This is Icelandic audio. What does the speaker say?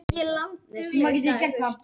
Hörður